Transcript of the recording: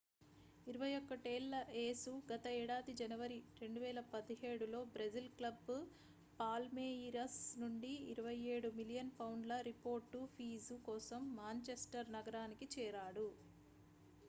21 ఏళ్ల యేసు గత ఏడాది జనవరి 2017లో బ్రెజిల్ క్లబ్ పాల్మేయిరస్ నుండి 27 మిలియన్ పౌండ్ల రిపోర్డ్ ఫీజు కోసం మాంచెస్టర్ నగరానికి చేరాడు